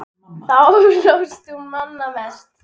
Þá hlóst þú manna mest.